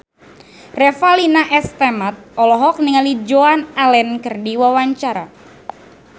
Revalina S. Temat olohok ningali Joan Allen keur diwawancara